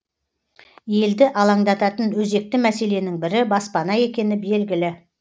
елді алаңдататын өзекті мәселенің бірі баспана екені белгілі